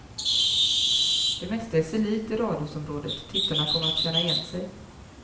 Det mesta är sig likt i radhusområdet, tittarna kommer att känna igen sig.